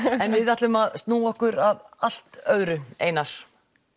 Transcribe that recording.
en við ætlum að snúa okkur að allt öðru Einar